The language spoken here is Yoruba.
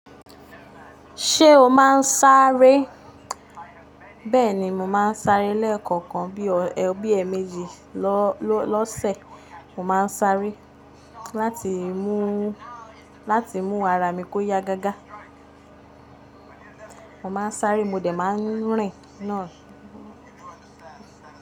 Ṣé o máa ń sáré? Bẹ́ẹ̀ni, mo máa ń sáré lẹ́ẹ̀kọ̀kan bí ọ ẹ́méjì lọ́sẹ̀. Mo máa ń sáré láti mú ara mi kó ya gágá. Mo máa ń sáré, mo dẹ̀ máa ń rìn náà.